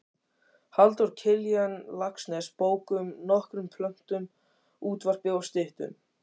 Halldór Kiljan Laxness bókum, nokkrum plöntum, útvarpi og styttum.